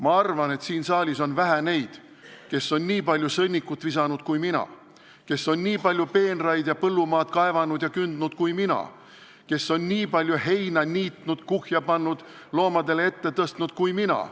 Ma arvan, et siin saalis on vähe neid, kes on nii palju sõnnikut visanud kui mina, kes on nii palju peenraid ja põllumaad kaevanud ja kündnud kui mina, kes on nii palju heina niitnud, kuhja pannud, loomadele ette tõstnud kui mina.